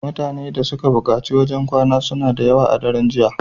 Mutane da suka bukaci wajan kwana suna dayawa a daran jiya